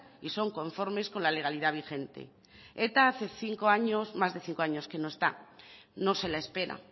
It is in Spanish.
y son conformes a la legalidad vigente eta hace más de cinco años que no está no se la espera